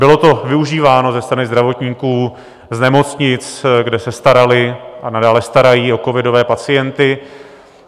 Bylo to využíváno ze strany zdravotníků z nemocnic, kde se starali a nadále starají o covidové pacienty.